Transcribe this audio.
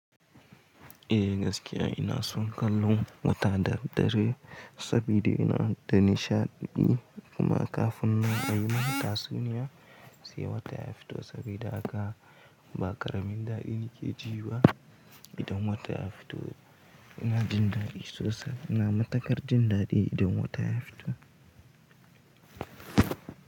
Eh gaskiya ina son kallon wata da daddare saboda ina da nishaɗi kuma kafin nan ayimin tasuniya sai wata ya fito saboda haka ba ƙaramin daɗi nake ji ba idan wata ya fito ina jin daɗi sosai. Ina matukar jin daɗi idan wata ya fito.